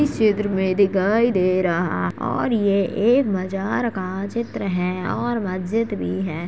इस चित्र में दिखाई दे रहा और ये एक मज़ार का चित्र है और मस्जिद भी है।